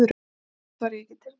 Samt var ég ekki tilbúinn.